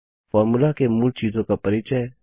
formula के मूल चीजों का परिचय